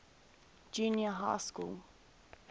junior high school